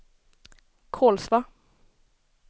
Kolsva